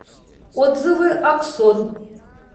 отзывы аксон